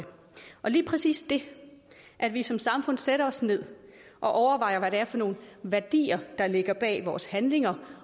og lige præcis det at vi som samfund sætter os ned og overvejer hvad det er for nogle værdier der ligger bag vores handlinger